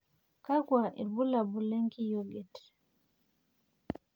kakua irbulabol le nkiyioget?